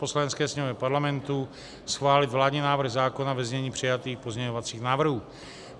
Poslanecké sněmovně Parlamentu schválit vládní návrh zákona ve znění přijatých pozměňovacích návrhů.